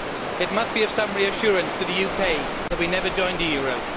It must be of some reassurance to the UK that we never joined the euro.